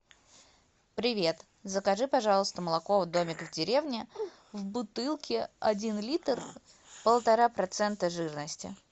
привет закажи пожалуйста молоко домик в деревне в бутылке один литр полтора процента жирности